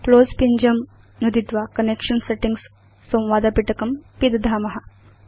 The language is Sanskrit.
क्लोज़ पिञ्जं नुदित्वा कनेक्शन सेटिंग्स् संवादपिटकं पिदधाम